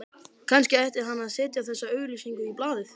Kannski ætti hann að setja þessa auglýsingu í blaðið